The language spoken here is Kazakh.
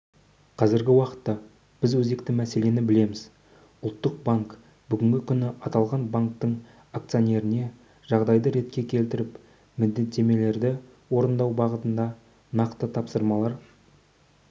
қазіргі уақытта біз өзекті мәселені білеміз ұлттық банк бүгінгі күні аталған банктің акционеріне жағдайды ретке келтіріп міндеттемелерді орындау бағытында нақты тапсырмалар